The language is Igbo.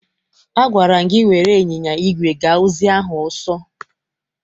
Agwara m gị were ịnyịnya igwe gaa ozi ahụ ọsọ!